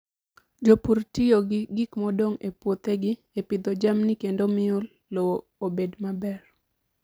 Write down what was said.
Jopur tiyo gi gik modong' e puothegi e pidho jamni kendo miyo lowo obed maber.